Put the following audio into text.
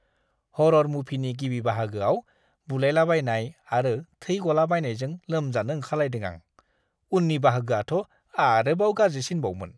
हर'र मुभिनि गिबि बाहागोआव बुलायलाबायनाय आरो थै गलाबायनायजों लोमजानो ओंखारलायदों आं, उननि बाहागोआथ' आरोबाव गाज्रिसिनबावमोन!